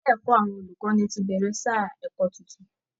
Ilé ẹ̀kọ́ àwọn olùkọ́ni ti bẹ̀rẹ̀ sáà ẹ̀kọ́ tuntun